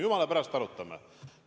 Jumala pärast, arutame!